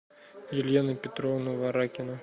елена петровна варакина